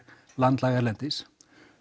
landlæg erlendis